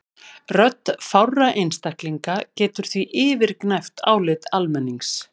Rödd fárra einstaklinga getur því yfirgnæft álit almennings.